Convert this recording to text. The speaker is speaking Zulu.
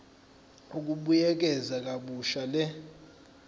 ukubuyekeza kabusha le